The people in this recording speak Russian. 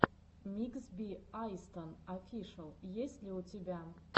микс би айстон офишэл есть ли у тебя